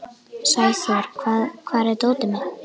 Sæþór, hvar er dótið mitt?